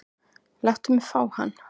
Láttu mig fá hann.